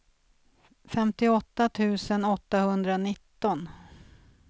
femtioåtta tusen åttahundranitton